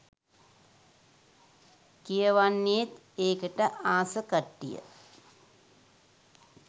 කියවන්නේත් ඒකට ආස කට්ටිය.